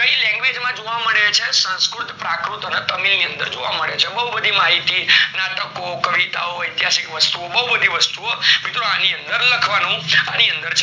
સંસ્કૃત, પ્રાકૃત અને તમિલની અંદર જોવા મળે છે. બેઉ બધી માહિતી, નાટકો, કવિતાઓ, ઐતિહાસિક વસ્તુઓ, બેઉ બધી વસ્તુઓ મિત્રો આની અંદર લખવાનુ, આની અંદર છે.